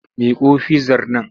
Miƙo fizzar nan!